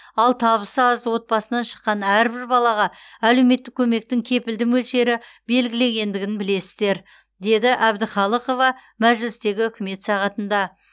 ал табысы аз отбасынан шыққан әрбір балаға әлеуметтік көмектің кепілді мөлшері белгіленгендігін білесіздер деді әбдіқалықова мәжілістегі үкімет сағатында